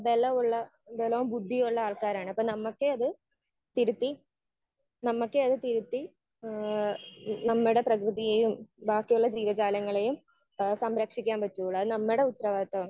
Speaker 1 ബലമുള്ള ബലോം ബുദ്ധിയുമുള്ള ആൾക്കാരാണ്. അപ്പൊ നമുക്കേ അത് തിരുത്തി നമുക്കേ അത് തിരുത്തി ഏഹ് നമ്മുടെ പ്രകൃതിയേയും ബാക്കിയുള്ള ജീവ ജാലങ്ങളേയും ഏഹ് സംരക്ഷിക്കാൻ പറ്റുവൊള്ളൂ. അത് നമ്മുടെ ഉത്തരവാദിത്വമാണ്.